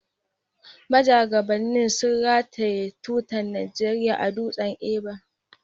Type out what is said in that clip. Majagabannin sun rataye tutar Najeriya a Dutsen Ever.